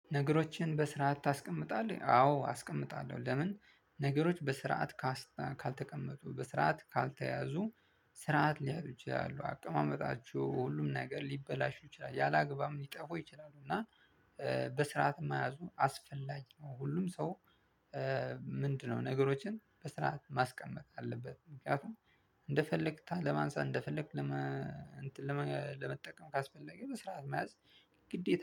ነገሮችን በስርዓት ታስቀምጣለህ? አዎ አስቀምጣለሁ ለምን ነገሮች በስርዓት ካልተቀመጡ በስርዓት ካልተያዙ ስርዓት ሊያጡ ይችላሉ አቀማመጣቸው ሁሉም ነገር ሊበላሹ ይችላሉ ያለ አግባብም ሊጠፉ ይችላሉ እና በስርዓት መያዙን አስፈላጊ ነው ሁሉም ሰው ምንድነው ነገሮችን በስርዓት ማስቀመጥ አለበት ምክንያቱም እንደፈለግክ ለማንሳት እንደፈለግክ ለመ እንትን ለመጠቀም ካስፈለገ በስርዓት መያዝ ግዴታ